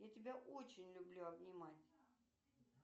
я тебя очень люблю обнимать